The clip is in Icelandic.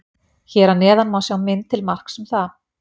Hér að neðan má sjá mynd til marks um það.